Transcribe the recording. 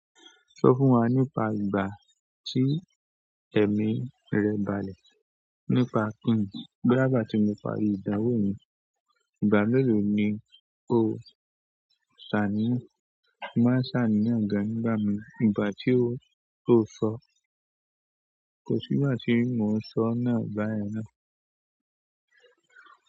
Sọ fún wa nípa ìgbà tí ẹ̀mí rẹ balẹ̀. Nípa kíìní, bóyá ìgbà tí mo parí ìdánwò mi. Ìgbà mélòó ni o ṣàní? Mo máa ṣàníyàn gan nígbà mìí. Ìgbà tí o, o sọ. Kò sígbà tí mo sọ náà báyẹn náà.